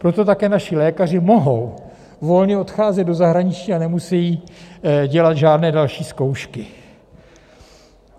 Proto také naši lékaři mohou volně odcházet do zahraničí a nemusí dělat žádné další zkoušky.